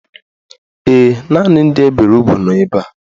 Ee, naanị ndị e bere ugwu nọ ebe a.